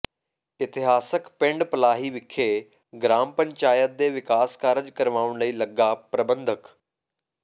ਇਤਿਹਾਸਕ ਪਿੰਡ ਪਲਾਹੀ ਵਿਖੇ ਗਰਾਮ ਪੰਚਾਇਤ ਦੇ ਵਿਕਾਸ ਕਾਰਜ ਕਰਵਾਉਣ ਲਈ ਲੱਗਾ ਪ੍ਰਬੰਧਕ